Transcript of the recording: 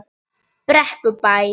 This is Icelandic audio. Tanía, spilaðu lag.